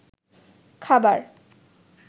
খাবার